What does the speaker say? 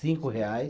Cinco reais.